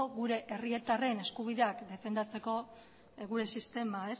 gure herritarren eskubideak defendatzeko gure sistema